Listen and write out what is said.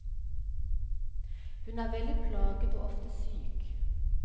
Hun er veldig plaget og ofte syk.